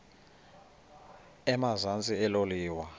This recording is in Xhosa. emazantsi elo liwa